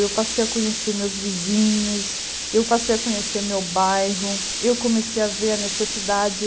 Eu passei a conhecer meus vizinhos, eu passei a conhecer meu bairro, eu comecei a ver a necessidade.